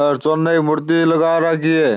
और चुन की मूर्ती लगा राखी है।